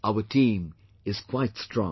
Our team is quite strong